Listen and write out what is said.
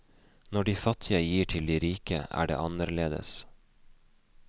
Når de fattige gir til de rike, er det annerledes.